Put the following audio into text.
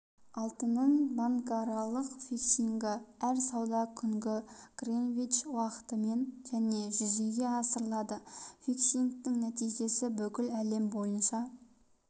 алтынның банкаралық фиксингі әр сауда күні гринвич уақытымен және жүзеге асырылады фиксингтің нәтижесі бүкіл әлем бойынша